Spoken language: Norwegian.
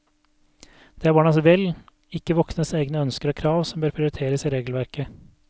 Det er barnas vel, ikke voksnes egne ønsker og krav som bør prioriteres i regelverket.